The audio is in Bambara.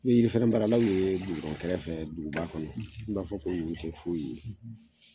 N'i ye yiri feren baaralaw ye kɛrɛfɛ duguba kɔnɔ i b'a fɔ ko ninnu tɛ foyi ye.